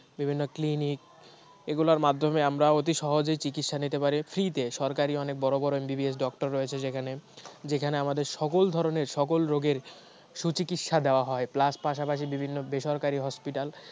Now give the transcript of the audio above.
বিভিন্ন clinic এই গুলার মাধম্যে আমরা অতি সহজে চিকিৎসা নিতে পারি free তে সরকারি অনেক বড় বড় MBBS doctor রয়েছে যেখানে আমাদের সকল ধরনের সকল রোগের সুচিকিৎসা দেয়া হয় plus পাশাপাশি বিভিন্ন বেসরকারি hospital